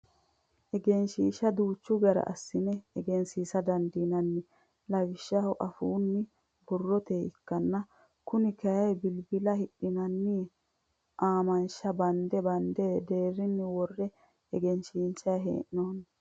Egensiishsha duucha gede assine egensiisa dandiinnanni lawishshaho afuunni, borroteyi ikkanna Kuni kayii bilbila hidhinanni aamansha bande bande deerrisinni worre egensiinsayi hee'noyi.